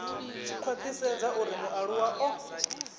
tshi khwathisedza uri mualuwa o